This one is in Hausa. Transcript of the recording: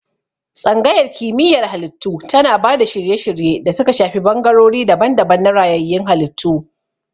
Tsangayar Kimiyyar Halittu tana ba da shirye-shirye da suka shafi bangarori daban-daban na rayayyun halittu.